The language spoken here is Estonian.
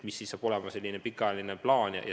Mis ikkagi saab olema pikaajaline plaan?